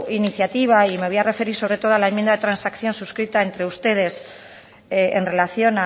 iniciativa y me voy a referir sobre todo a la enmienda de transacción suscrita entre ustedes en relación